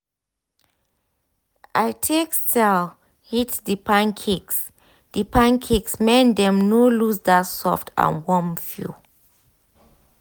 i take style heat the pancakes the pancakes make dem no lose that soft and warm feel.